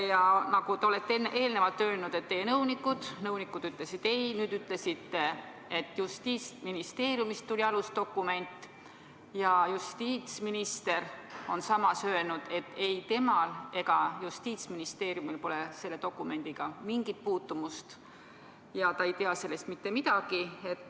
Ja nagu te olete eelnevalt öelnud: teie nõunikud ütlesid ei, nüüd te ütlesite, et Justiitsministeeriumist tuli alusdokument, aga justiitsminister on samas öelnud, et ei temal ega Justiitsministeeriumil pole selle dokumendiga mingit puutumust ja ta ei tea sellest mitte midagi.